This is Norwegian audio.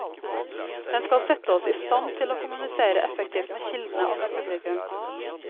Den skal sette oss i stand til å kommunisere effektivt med kildene og med publikum.